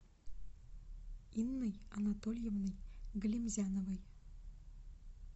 инной анатольевной галимзяновой